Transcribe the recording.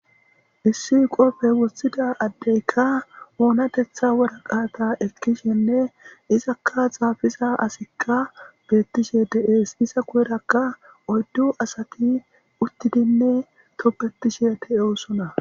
Issi qope wothidi adeyka onatetha waraqata ekishene izaka xafiza asiy betishe de'es oyddu asati utidi tobetishea de'etes aaa